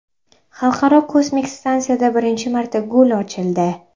Xalqaro kosmik stansiyada birinchi marta gul ochildi.